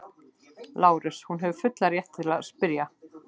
LÁRUS: Hún hefur fullan rétt til að spyrja.